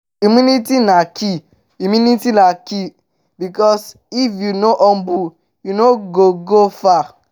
humility na key humility na key bikos if yu no humble yu no go go far